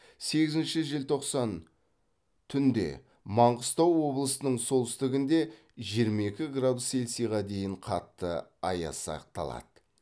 сегізінші желтоқсан түнде маңғыстау облысының солтүстігінде жиырма екі градус селсиға дейін қатты аяз сақталады